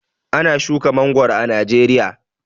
Ana shuka mangoro a Najeriya.